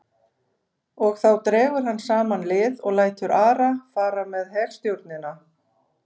Og þá dregur hann saman lið og lætur Ara fara með herstjórnina.